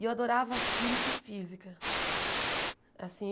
E eu adorava química e física. Assim